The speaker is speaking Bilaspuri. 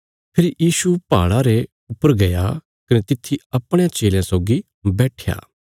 फेरी यीशु पहाड़ा रे ऊपर गया कने तित्थी अपणयां चेलयां सौगी बैट्ठया